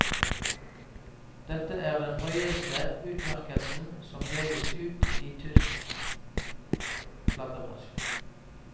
Dette er den høyeste utmerkelsen som deles ut i tysk platebransje.